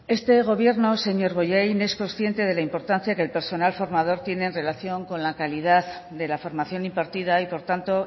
este gobierno señor bollain es consciente de la importancia que el personal formador tiene relación con la calidad de la formación impartida y por tanto